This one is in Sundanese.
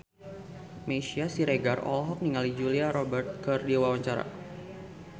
Meisya Siregar olohok ningali Julia Robert keur diwawancara